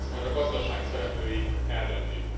Ezt majd a gazdaság szereplői eldöntik.